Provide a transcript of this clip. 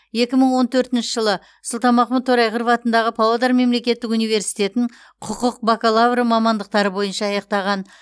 екі мың он төртінші жылы сұлтанмахмұт торайғыров атындағы павлодар мемлекеттік университетін құқық бакалавры мамандықтары бойынша аяқтаған